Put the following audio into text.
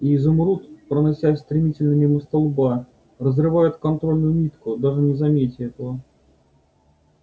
и изумруд проносясь стремительно мимо столба разрывает контрольную нитку даже не заметя этого